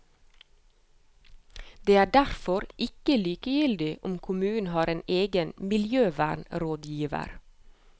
Det er derfor ikke likegyldig om kommunen har en egen miljøvernrådgiver.